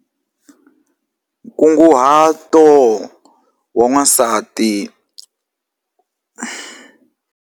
Nkunguhato wa n'wasati.